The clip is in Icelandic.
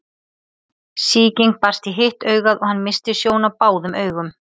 Sýking barst í hitt augað hann missti sjón á báðum augum.